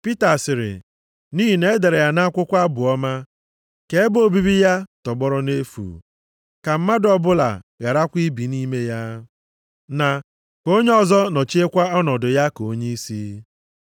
Pita sịrị, “Nʼihi na e dere ya nʼakwụkwọ Abụ Ọma: “ ‘Ka ebe obibi ya tọgbọrọ nʼefu, ka mmadụ ọbụla gharakwa ibi nʼime ya,’ + 1:20 \+xt Abụ 69:25\+xt* na, “ ‘Ka onye ọzọ nọchiekwa ọnọdụ ya ka onyeisi.’ + 1:20 \+xt Abụ 109:8\+xt*